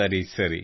ಸರಿ ಸರಿ